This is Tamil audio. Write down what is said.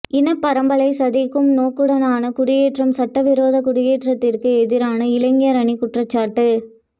இனப் பரம்பலை சிதைக்கும் நோக்குடனான குடியேற்றம் சட்டவிரோத குடியேற்றத்திற்கு எதிரான இளைஞர் அணி குற்றச்சாட்டு